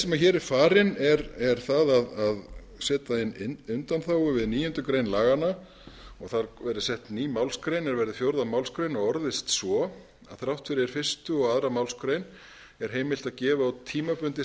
sem hér er farin er að setja inn undanþágu við níundu grein laganna og þar verði sett inn ný málsgrein er verði fjórðu málsgrein og orðist svo þrátt fyrir fyrstu og annarri málsgrein er heimilt að gefa út tímabundið